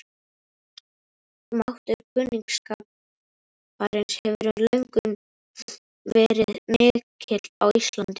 Máttur kunningsskaparins hefur löngum verið mikill á Íslandi.